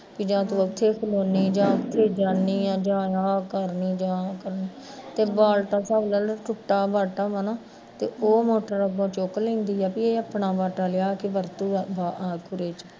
ਵੀ ਜਾ ਤੂੰ ਏਥੇ ਖਲੋਂਦੀ ਵੀ ਜਾ ਤੂੰ ਕਿਤੇ ਜਾਂਦੀ ਆ ਜਾ ਆਹ ਕਰਦੀ ਆਹ ਕਰਦੀ ਤੇ ਬਲਟਾ ਭਰ ਟੁੱਟਾ ਹੋਇਆ ਬਾਲਟਾ ਐ ਨਾ, ਉਹ ਮੋਟਰ ਉੱਤੋਂ ਚੁੱਕ ਲੈਂਦੀ ਆ ਵੇ ਇਹ ਆਪਣਾ ਬਾਟਾ ਲਿਆ ਕੇ ਵਰਤੂਗਾ ਅਖੀਰੇ ਚ